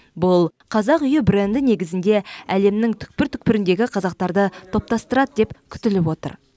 бұл қазақ үйі бренді негізінде әлемнің түкпір түкпіріндегі қазақтарды топтастырады деп күтіліп отыр